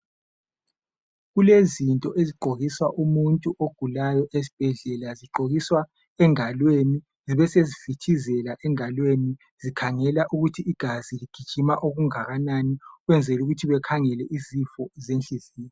Kulezinto ezigqokiswa umuntu ogulayo esibhedlela. Zigqokiswa engalweni zibesezifitizela engalweni. Zikhangela ukuthi igazi ligijima okungakanani. Ukwenzela ukuthi bekhangele isifo senhliziyo.